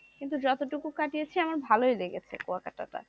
কিন্তু যতটুকু কাটিয়েছি আমার ভালোই লেগেছে কুয়াকাটা টা,